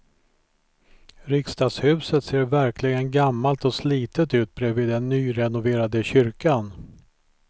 Riksdagshuset ser verkligen gammalt och slitet ut bredvid den nyrenoverade kyrkan.